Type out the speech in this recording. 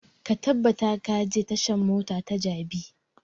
Ka tabbata ka je tashan mota ta jabi!